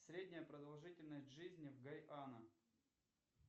средняя продолжительность жизни в гайана